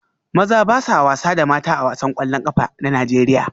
Maza ba sa wasa da mata A wasan kwallon kafa na Najeriya